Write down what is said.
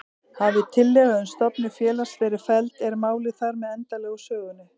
Hafi tillaga um stofnun félags verið felld er málið þar með endanlega úr sögunni.